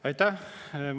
Aitäh!